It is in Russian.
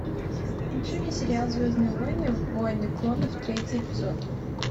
включи мне сериал звездные войны войны клонов третий эпизод